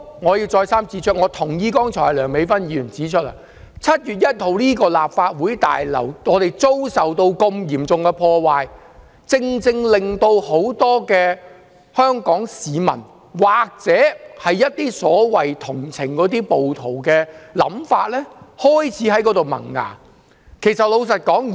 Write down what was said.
我要再三指出，我同意剛才梁美芬議員所說 ，7 月1日立法會大樓遭受嚴重破壞，令很多香港市民同情暴徒的想法開始萌芽。